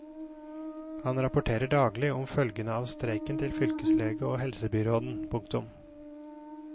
Han rapporterer daglig om følgene av streiken til fylkeslege og helsebyråd. punktum